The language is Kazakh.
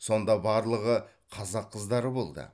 сонда барлығы қазақ қыздары болды